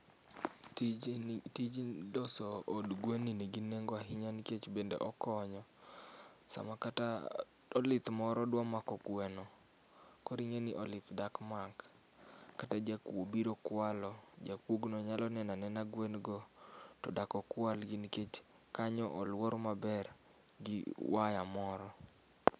Tije ni, tij loso od gwen ni nigi nengo ahinya nikech bende okonyo sama kata olith moro dwa mako gweno, koro ing'eni olith dak mak, kata jakuo biro kwalo, jakuogno nyalo neno aneno gwen go to dak okwal nikech kanyo oluor maber gi waya moro